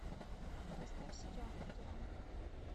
поставь сериал футурама